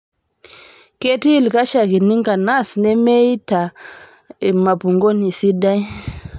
Keetii ilkashakini nkanas nemeeita mupangoni sidai